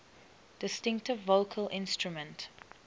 distinctive vocal instrument